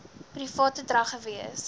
private drag gewees